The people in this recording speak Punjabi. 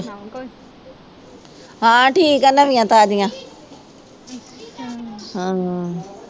ਹਾਂਂ ਠੀਕ ਹੈ ਨਵੀਆਂ ਤਾਜ਼ੀਆਂ ਹਾਂ